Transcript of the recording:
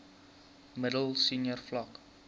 middel senior vlak